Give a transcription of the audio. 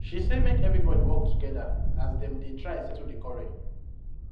she say make everybody work together as dem dey try settle the quarrel